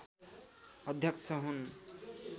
अध्यक्ष हुन्